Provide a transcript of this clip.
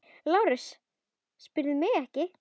LÁRUS: Spyrðu mig ekki!